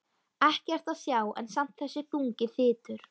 Ekkert að sjá en samt þessi þungi þytur.